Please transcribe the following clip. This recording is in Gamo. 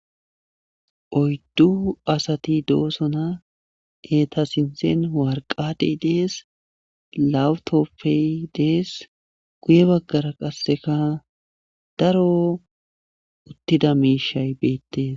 Oyddu asati doosona eetta sinthen warqatey dees lawutoppey dees guye baggara qasseka daro uttida miishay beettes